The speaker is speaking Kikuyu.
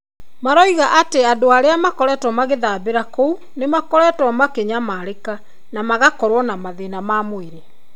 Maroiga atĩ andũ arĩa makoretwo magĩthambĩra kũu nĩ makoretwo makĩnyamarĩka. Na magakorũo na mathĩna ma mwĩrĩ.